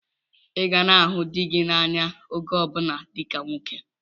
Ị ga na-ahụ dị gị n'anya oge ọbụla dịka nwoke!